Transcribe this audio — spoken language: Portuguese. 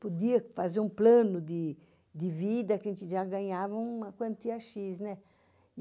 Podia fazer um plano de vida que a gente já ganhava uma quantia X, né?